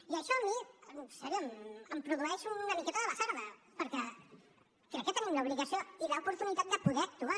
i això a mi de debò em produeix una miqueta de basarda perquè crec que tenim l’obligació i l’oportunitat de poder actuar